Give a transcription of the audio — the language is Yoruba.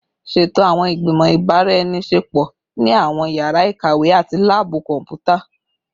Ṣeto awọn igbimọ ibaraenisepo ni awọn yara ikawe ati laabu kọnputa